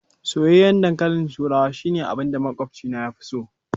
Soyayyen ɗankalin turawa shine abinda maƙwabci na fi so.